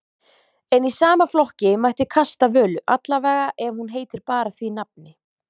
En í sama flokki mætti kasta Völu, allavega ef hún heitir bara því nafni.